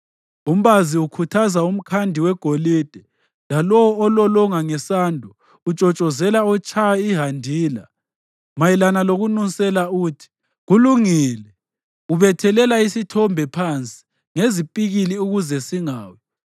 Umbazi ukhuthaza umkhandi wegolide, lalowo ololonga ngesando utshotshozela otshaya ihandila. Mayelana lokunusela uthi, “Kulungile.” Ubethelela isithombe phansi ngezipikili ukuze singawi.